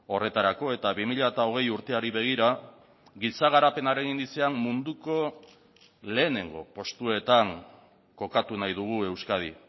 horretarako eta bi mila hogei urteari begira giza garapenaren indizean munduko lehenengo postuetan kokatu nahi dugu euskadi